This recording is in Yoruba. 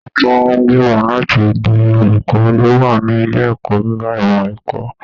Àwọn tó gbimọ láti di olùkọ lo wà ní ilé ẹ̀kọ́ gíga ìmọ ẹ̀kọ́.